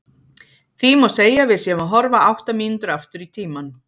Því má segja að við séum að horfa átta mínútur aftur í tímann.